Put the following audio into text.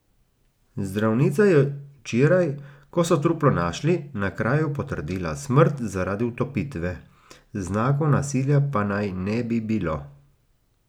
Zdravnica je včeraj, ko so truplo našli, na kraju potrdila smrt zaradi utopitve, znakov nasilja pa naj ne bi bilo.